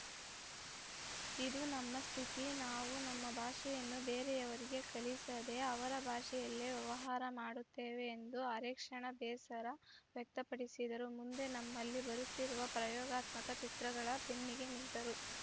ಇದು ನಮ್ಮ ಸ್ಥಿತಿ ನಾವು ನಮ್ಮ ಭಾಷೆಯನ್ನು ಬೇರೆಯವರಿಗೆ ಕಲಿಸದೇ ಅವರ ಭಾಷೆಯಲ್ಲೇ ವ್ಯವಹಾರ ಮಾಡುತ್ತೇವೆ ಎಂದು ಅರೆ ಕ್ಷಣ ಬೇಸರ ವ್ಯಕ್ತಪಡಿಸಿದರೂ ಮುಂದೆ ನಮ್ಮಲ್ಲಿ ಬರುತ್ತಿರುವ ಪ್ರಯೋಗಾತ್ಮಕ ಚಿತ್ರಗಳ ಬೆನ್ನಿಗೆ ನಿಂತರು